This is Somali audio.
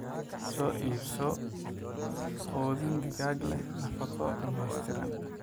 Soo iibso quudin digaag leh nafaqo dhammaystiran.